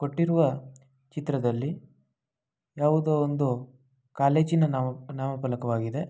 ಕೊಟ್ಟಿರುವ ಚಿತ್ರದಲ್ಲಿ ಯಾವುದೊ ಒಂದು ಕಾಲೇಜಿ ನ ನಾಮ ನಾಮಫಲಕವಾಗಿದೆ.